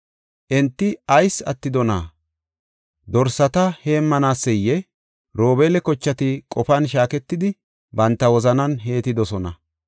Enti ayis attidonaa? Dorsata heemmanaseyee? Robeela kochati qofan shaaketidi, banta wozanan heettidosona.